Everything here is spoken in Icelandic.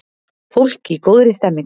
Fólk í góðri stemningu!